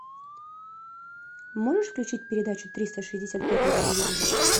можешь включить передачу триста шестьдесят пять на телевизоре